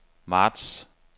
marts